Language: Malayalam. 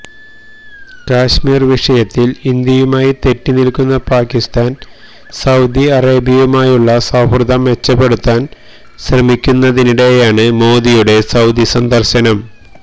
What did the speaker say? കശ്മീര് വിഷയത്തിൽ ഇന്ത്യയുമായി തെറ്റി നിൽക്കുന്ന പാക്കിസ്ഥാൻ സൌദി അറേബ്യയുമായുള്ള സൌഹൃദം മെച്ചപ്പെടുത്താൻ ശ്രമിക്കുന്നതിനിടെയാണ് മോദിയുടെ സൌദി സന്ദര്ശനം